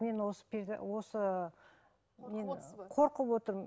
мен осы осы мен қорқып отырмын